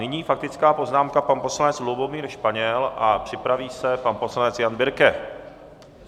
Nyní faktická poznámka, pan poslanec Lubomír Španěl, a připraví se pan poslanec Jan Birke.